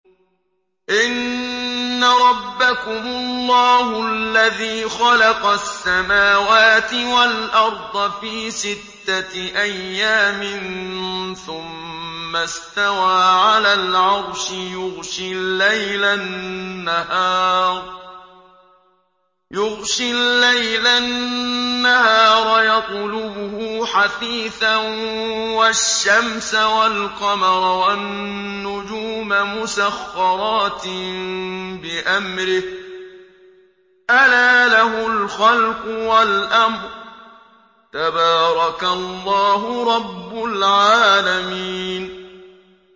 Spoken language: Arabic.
إِنَّ رَبَّكُمُ اللَّهُ الَّذِي خَلَقَ السَّمَاوَاتِ وَالْأَرْضَ فِي سِتَّةِ أَيَّامٍ ثُمَّ اسْتَوَىٰ عَلَى الْعَرْشِ يُغْشِي اللَّيْلَ النَّهَارَ يَطْلُبُهُ حَثِيثًا وَالشَّمْسَ وَالْقَمَرَ وَالنُّجُومَ مُسَخَّرَاتٍ بِأَمْرِهِ ۗ أَلَا لَهُ الْخَلْقُ وَالْأَمْرُ ۗ تَبَارَكَ اللَّهُ رَبُّ الْعَالَمِينَ